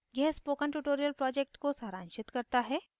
यह spoken tutorial project को सारांशित करता है